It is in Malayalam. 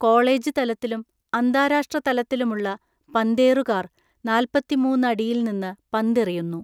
കോളേജ് തലത്തിലും അന്താരാഷ്ട്ര തലത്തിലുമുള്ള പന്തേറുകാര്‍ നാല്‍പ്പത്തിമൂന്നു അടിയിൽ നിന്ന് പന്തെറിയുന്നു.